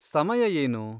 ಸಮಯ ಏನು?